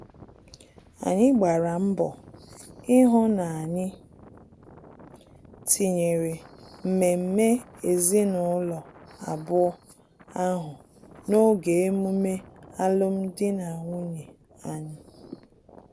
Anyị gbara mbọ ihu na-anyị tinyere mmemme ezinụlọ abụọ ahụ n'oge emume alum dị na nwunye anyị